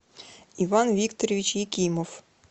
иван викторович якимов